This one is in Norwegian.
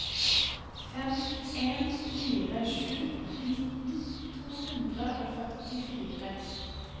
fem en fire sju nitten to hundre og førtifire